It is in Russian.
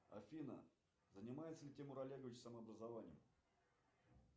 афина занимается ли тимур олегович самообразованием